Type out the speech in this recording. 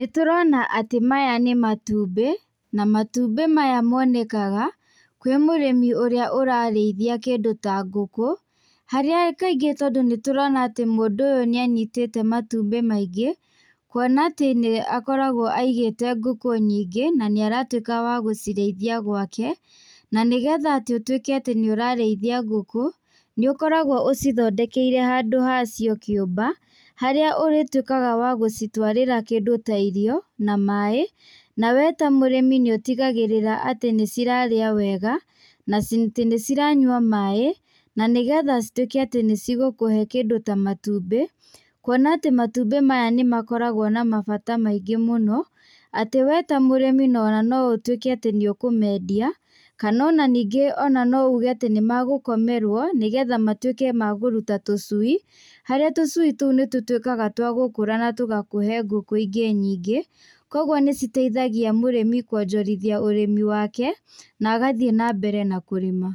Nĩ tũrona atĩ maya nĩ matumbĩ na matumbĩ maya monekaga kwĩ mũrĩmi ũrĩa ũrarĩithia kĩndũ ta ngũkũ, harĩa kaingĩ nĩ tũrona atĩ mũndũ ũyũ nĩ anyitĩte matumbĩ maingĩ, kwona atĩ nĩ akoragwo aigĩte ngũkũ nyingĩ na nĩ aratuĩka wa gũcirĩithia gwaka na nĩgetha ũtuĩka atĩ nĩ ũrarĩithia ngũkũ nĩ ũkoragwo ũcithondekeire handũ hacio kĩũmba, harĩa ũrĩtuĩkaga wa gũcitwarĩra kĩndũ ta irio na maĩ, nawe ta mũrĩmi nĩ ũtigagĩrĩra atĩ nĩ cira rĩa wega na atĩ nĩ ciranyua maĩ na nĩgetha cituĩke atĩ nĩ cigũkũhe kĩndũ ta matumbĩ kwona atĩ matumbĩ maya nĩ makoragwo na mabata maingĩ mũno, atĩ we ta mũrĩmi no ũtuĩke atĩ we ta mũrĩmi no ũtuĩke wa kũmendia kana ningĩ ona no uge nĩ magũkomerwo nĩgetha matuĩke ma kũruta tũcui, harĩa tũcui tũu nĩ tũtuĩkaga twa gũkũra na tũgakũhe ngũkũ ingĩ nyingĩ kwoguo nĩ citeithagia mũrĩmi kwonjorithia ũrĩmi wake na agathiĩ na mbere na kũrĩma.